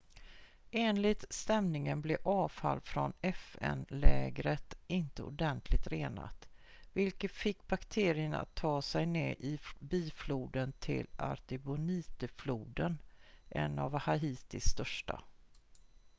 enligt stämningen blev avfall från fn-lägret inte ordentligt renat vilket fick bakterier att ta sig ned i bifloden till artibonite-floden en av haitis största